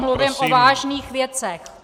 Mluvím o vážných věcech.